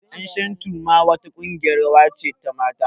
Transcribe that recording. Ƴan shantu ma wa ta ƙungiyar rawa ce ta mata